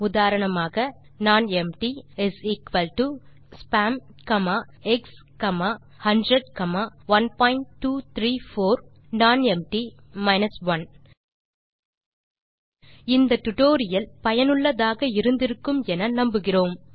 உதாரணமாக nonempty spam x 100 1234 nonempty 1 இந்த tutorial சுவாரசியமாகவும் பயனுள்ளதாகவும் இருந்திருக்கும் என நம்புகிறேன்